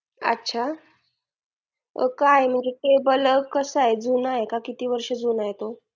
अच्छा काय म्हणजे table सा आहे जुना आहे का किती वर्ष जुना आहे तो